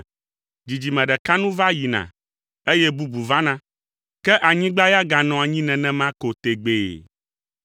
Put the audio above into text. Dzidzime ɖeka nu va yina eye bubu vana, ke anyigba ya ganɔa anyi nenema ko tegbee.